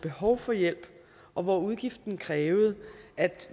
behov for hjælp og hvor udgiften krævede at